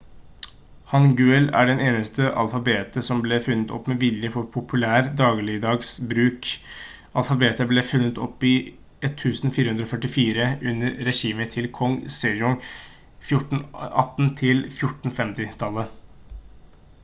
hangeul er det eneste alfabetet som ble funnet opp med vilje for populær dagligdags bruk. alfabetet ble funnet opp i 1444 under regimet til kong sejong 1418–1450